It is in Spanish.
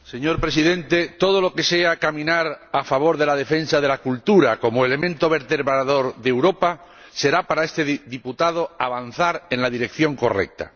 Señor Presidente, todo lo que sea caminar a favor de la defensa de la cultura como elemento vertebrador de Europa será para este diputado avanzar en la dirección correcta.